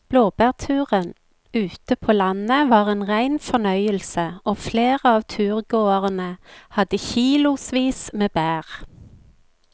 Blåbærturen ute på landet var en rein fornøyelse og flere av turgåerene hadde kilosvis med bær.